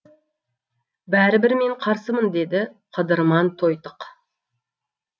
бәрібір мен қарсымын деді қыдырман тойтық